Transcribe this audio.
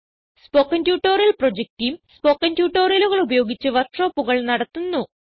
spoken tutorial project team spoken ട്യൂട്ടോറിയലുകൾ ഉപയോഗിച്ച് വർക്ക് ഷോപ്പുകൾ നടത്തുന്നു